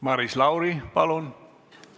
Maris Lauri, palun!